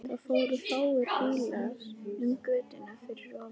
Það fóru fáir bílar um götuna fyrir ofan.